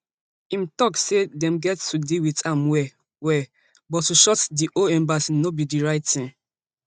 im tok say dem get to deal wit am well well but to shutdown di whole embassy no be di right tin